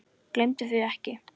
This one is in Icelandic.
Gleymdu því ekki.